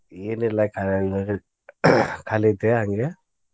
ಎನಿಲ್ಲಾ ಖಾ~ ಖಾಲಿ ಇದ್ದೆ ಹಂಗೆ.